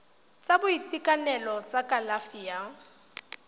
sa boitekanelo sa kalafi ya